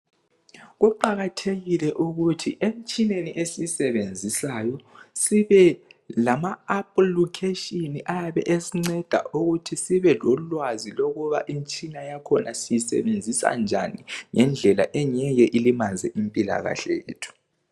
Kuqakathekile ukuthi emtshineni esiyisebenzisayo, sibe lama applucation ayabe esinceda ukuthi sibe lolwazi lokuthi imitshina yakhona siyisebenzisa kanjani. Ngendlela imitshina yakhona engeke ilimaze impilakahle yethu.